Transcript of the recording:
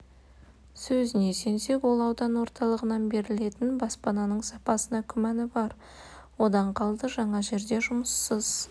сөзіне сенсек ол аудан орталығынан берілетін баспананың сапасына күмәні бар одан қалды жаңа жерде жұмыссыз